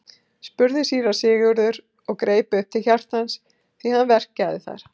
spurði síra Sigurður og greip upp til hjartans því hann verkjaði þar.